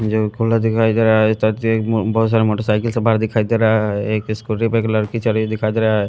और पूरा दिखाई दे रहा है बहुत सारे मोटरसाइकिल से बाहर दिखाई दे रहा है एक स्कूटी पर एक लड़की चल रही दिखाई दे रहा है--